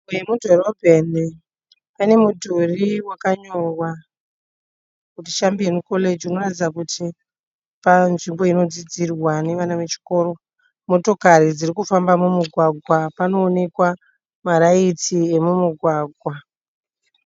Nzvimbo yemudhorobheni pane mudhuri wakanyorwa kuti chambiyoni koreji unoratidza kuti panzvimbo inodzidzirwa nevana vechikoro. Motokari dzirikufamba mumugwagwa panoonekwa maraitsi emumugwagwa.